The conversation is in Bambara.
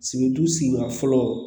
Sibiridu sigida fɔlɔ